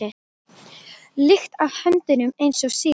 lykt af höndunum eins og síðast.